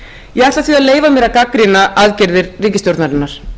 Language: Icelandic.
ég ætla því að leyfa mér að gagnrýna aðgerðir ríkisstjórnarinnar